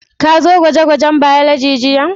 Ka zo gwaje-gwajen Biology jiya?